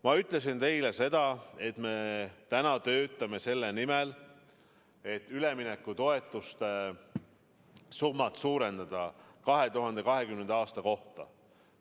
Ma ütlesin teile, et me töötame selle nimel, et üleminekutoetuste summat 2020. aastal suurendada.